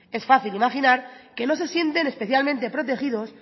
es fácil imaginar que no se sienten especialmente protegidos